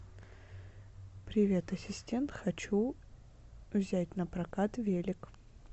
привет ассистент хочу взять напрокат велик